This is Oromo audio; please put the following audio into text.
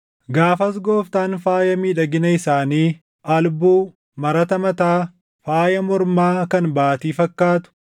Gaafas Gooftaan faaya miidhagina isaanii: albuu, marata mataa, faaya mormaa kan baatii fakkaatu,